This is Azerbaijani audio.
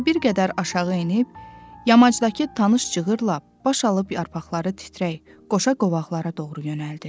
Sonra bir qədər aşağı enib, yamacdakı tanış cığırla baş alıb yarpaqları titrək qoşa qovaqlara doğru yönəldi.